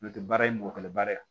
N'o tɛ baara ye mɔgɔ kɛlɛ bara ye